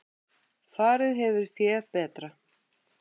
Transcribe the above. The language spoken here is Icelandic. Farið hefur fé betra.